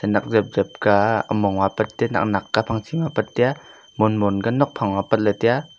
khanak jep jep ka humong ma aipat tai ya nak nak kye phachi ma aipat tai ya mon mon ka nok pha ma aipat tai ya.